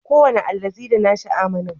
Kowane allazi da nashi amanu